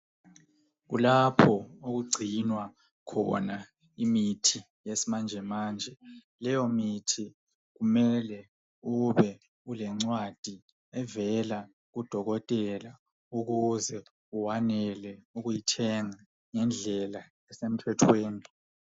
Kukhona indawo lapho okugcinwa khona imithi yesimanje. Leyo mithi kumele ubele lencwadi evela kudokotela ukuze ukwanise ukuyithenga ngendlela esemthethweni.